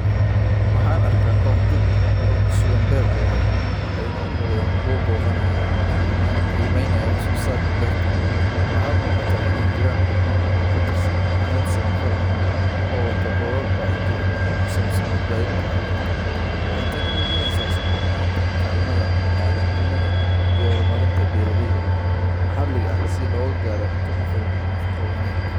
Waxaan arkaa koox dad ah oo ku sugan beer cagaaran, waxayna u muuqdaan kuwo booqanaya ama qiimeynaya wax soo saarka beerta. Waxaa muuqata in ay jiraan xubno ka tirsan hay'ad samafal ah oo wato boorar wacyigelin ah oo ku saabsan badbaadinta carruurta. Waxay tani muujinaysaa isku xirnaanta kaalmada bini’aadantinimo iyo horumarinta beeraleyda maxalliga ah si loo gaaro cunto ku filan iyo nafaqo wanaag.